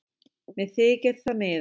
Mér þykir það miður